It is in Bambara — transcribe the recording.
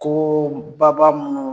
Ko ba ba minnu